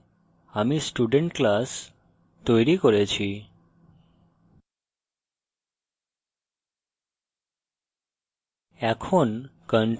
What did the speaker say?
এমনিভাবে আমি student class তৈরি করেছি